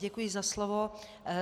Děkuji za slovo.